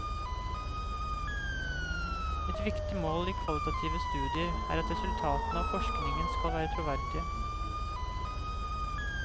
Et viktig mål i kvalitative studier er at resultatene av forskningen skal være troverdige.